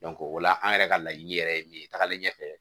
o la an yɛrɛ ka laɲini yɛrɛ ye min ye tagalen ɲɛfɛ